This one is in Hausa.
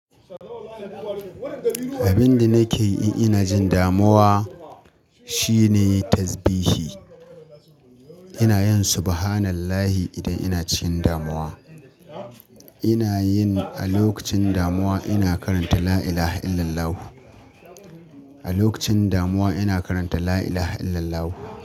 Abin da nake yi ina jin damuwa shine tasbihi. Ina yin subhanallahi idan ina cikin damuwa. Ina yin, a lokacin damuwa ina karanta la ilaha illallahu. A lokacin damuwa ina karanta la ilaha illallah.